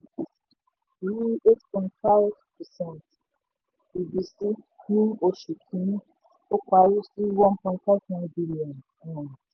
um rí eight point five percent ìbísí ní oṣù kìíní ó parí sí one point five nine billion. um